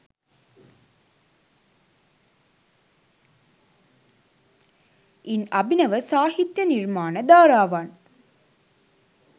ඉන් අභිනව සාහිත්‍ය නිර්මාණ ධාරාවන්